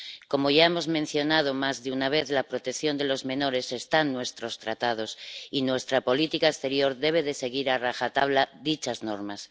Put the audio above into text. Como ya hemos mencionado más de una vez, la protección de los menores está en nuestros tratados, y nuestra política exterior debe seguir a rajatabla dichas normas.